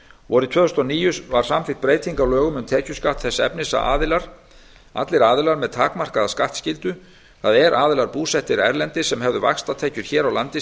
vorið tvö þúsund og níu var samþykkt breyting á lögum um tekjuskatt þess efnis að allir aðilar með takmarkaða skattskyldu það er aðilar búsettir erlendis sem hefðu vaxtatekjur hér á landi